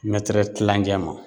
Mɛtɛrɛ kilancɛ ma